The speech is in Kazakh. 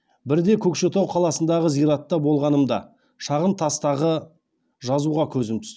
бірде көкшетау қаласындағы зиратта болғанымда шағын тастағы жазуға көзім түсті